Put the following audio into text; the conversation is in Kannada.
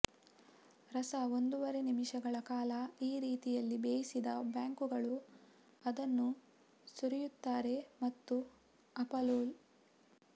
ರಸ ಒಂದೂವರೆ ನಿಮಿಷಗಳ ಕಾಲ ಈ ರೀತಿಯಲ್ಲಿ ಬೇಯಿಸಿದ ಬ್ಯಾಂಕುಗಳು ಅದನ್ನು ಸುರಿಯುತ್ತಾರೆ ಮತ್ತು ಅಪ್ ರೋಲ್